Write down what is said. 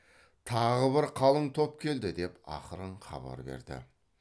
тағы бір қалың топ келді деп ақырын хабар берді